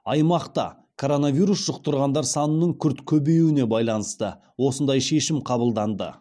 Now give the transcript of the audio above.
аймақта коронавирус жұқтырғандар санының күрт көбеюіне байланысты осындай шешім қабылданды